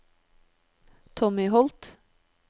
Tommy Holth